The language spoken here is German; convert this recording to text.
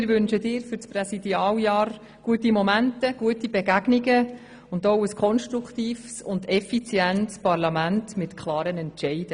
Wir wünschen dir für dein Präsidialjahr gute Momente, gute Begegnungen und auch ein konstruktives, effizientes Parlament mit klaren Entscheiden.